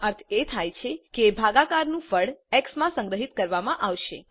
એનો અર્થ એ થાય કે ભાગાકાર નું ફળ એક્સ માં સંગ્રહિત કરવામાં આવશે